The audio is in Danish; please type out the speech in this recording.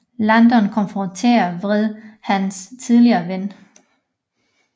Landon konfronterer vredt hans tidligere ven